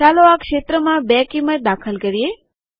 ચાલો આ ક્ષેત્રમાં 2 કિંમત દાખલ કરીએ